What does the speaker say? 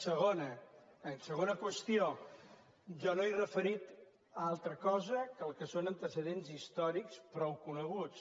segona segona qüestió jo no m’he referit a altra cosa que el que són antecedents històrics prou coneguts